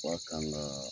Wa kan kaa